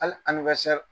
Hali